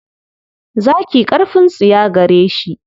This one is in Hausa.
Zaki ƙarfin tsiya gare shi.